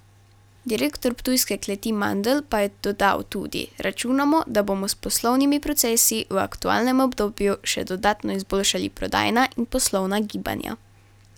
Direktor ptujske kleti, Mandl pa je dodal tudi: 'Računamo, da bomo s poslovnimi procesi v aktualnem obdobju še dodatno izboljšali prodajna in poslovna gibanja.